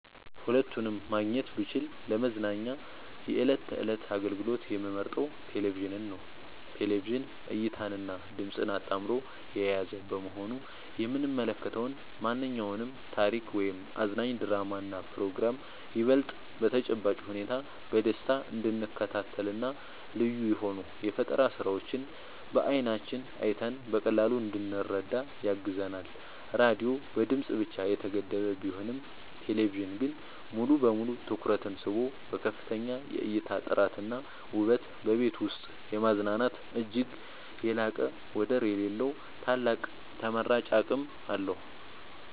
ሁለቱንም ማግኘት ብችል ለመዝናኛ የዕለት ተዕለት አገልግሎት የምመርጠው ቴሌቪዥንን ነው። ቴሌቪዥን እይታንና ድምጽን አጣምሮ የያዘ በመሆኑ የምንመለከተውን ማንኛውንም ታሪክ ወይም አዝናኝ ድራማና ፕሮግራም ይበልጥ በተጨባጭ ሁኔታ በደስታ እንድንከታተልና ልዩ የሆኑ የፈጠራ ስራዎችን በዓይናችን አይተን በቀላሉ እንድንረዳ ያግዘናል። ራዲዮ በድምጽ ብቻ የተገደበ ቢሆንም ቴሌቪዥን ግን ሙሉ በሙሉ ትኩረትን ስቦ በከፍተኛ የእይታ ጥራትና ውበት በቤት ውስጥ የማዝናናት እጅግ የላቀና ወደር የሌለው ታላቅ ተመራጭ አቅም አለው።